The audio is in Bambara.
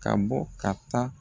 Ka bɔ ka taa